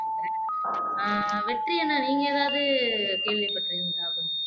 ஆஹ் வெற்றி அண்ணா நீங்க எதாவது கேள்விப்பட்டு இருந்தா